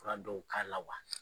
Wara dɔw k'a la wa?